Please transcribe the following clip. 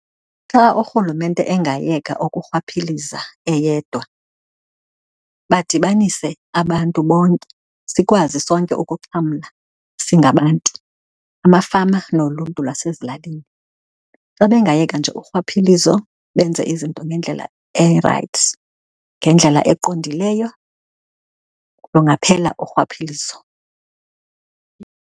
Xa urhulumente engayeka ukurhwaphiliza eyedwa, badibanise abantu bonke sikwazi sonke ukuxhamla singabantu, amafama noluntu lwasezilalini. Xa bengayeka nje urhwaphilizo, benze izinto ngendlela erayithi, ngendlela eqondileyo kungaphela urhwaphilizo.